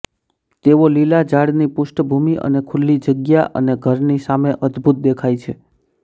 તેઓ લીલા ઝાડની પૃષ્ઠભૂમિ અને ખુલ્લી જગ્યા અને ઘરની સામે અદ્ભુત દેખાય છે